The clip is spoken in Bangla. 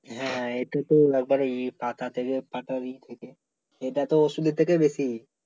হ্যাঁ এই তো একেবারে পাতা থেকে পাতা পাতারি থেকে এটা তো ওষুধের থেকে বেশি